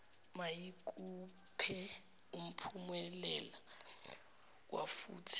mayikuphe umphumulela wafuthi